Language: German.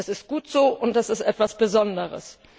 Das ist gut so, und das ist etwas Besonderes.